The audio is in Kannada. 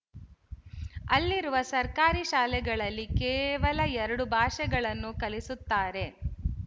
ಅಲ್ಲಿರುವ ಸರ್ಕಾರಿ ಶಾಲೆಗಳಲ್ಲಿ ಕೇವಲ ಎರಡು ಭಾಷೆಗಳನ್ನು ಕಲಿಸುತ್ತಾರೆ